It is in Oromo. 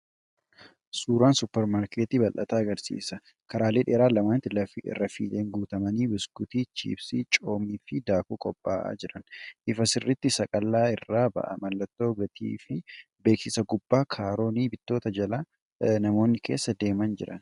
Suuraan supermaarkitii bal’ataa agarsiisa; karaalee dheeran lamaanitti rafiileen guutamanii, biskuutii, chiipsii, coomii fi daakuu qophaa’aa jiran. Ifa sirrii saqalla irraa ba’a. Mallattoon gatii fi beeksisaa gubbaa; kaaroonni bittootaa jalaa, namoonni keessa deemaa jiran.